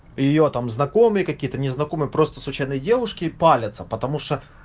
её там знакомые какие-то незнакомые просто случайные девушки палятся потому что